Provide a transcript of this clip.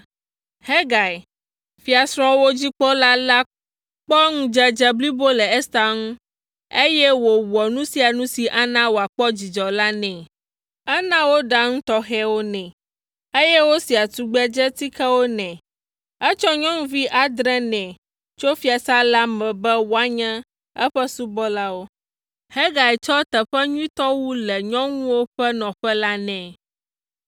Hegai, fiasrɔ̃wo dzikpɔla la kpɔ ŋudzedze blibo le Ester ŋu, eye wòwɔ nu sia nu si ana wòakpɔ dzidzɔ la nɛ. Ena woɖaa nu tɔxɛwo nɛ, eye wosiaa tugbedzetikewo nɛ. Etsɔ nyɔnuvi adre nɛ tso fiasã la me be woanye eƒe subɔlawo. Hegai tsɔ teƒe nyuitɔ wu le nyɔnuwo ƒe nɔƒe la nɛ.